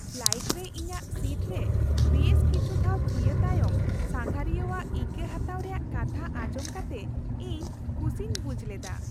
Flight ᱨᱮ ᱤᱧᱟᱹᱜ seat ᱨᱮ ᱵᱮᱥ ᱠᱤᱪᱷᱩ ᱫᱷᱟᱣ ᱛᱷᱤᱭᱟᱹ ᱛᱟᱭᱚᱢ ᱥᱟᱸᱜᱷᱟᱨᱤᱭᱟᱹᱣᱟᱜ ᱤᱠᱟᱹ ᱦᱟᱛᱟᱣ ᱨᱮᱭᱟᱜ ᱠᱟᱛᱷᱟ ᱟᱸᱡᱚᱢ ᱠᱟᱛᱮ ᱤᱧ ᱠᱩᱥᱤᱧ ᱵᱩᱡᱷ ᱞᱮᱫᱟ ᱾